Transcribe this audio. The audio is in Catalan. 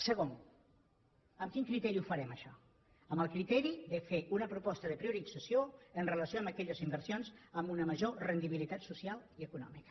segon amb quin criteri ho farem això amb el criteri de fer una proposta de priorització en relació amb aquelles inversions amb una major rendibilitat social i econòmica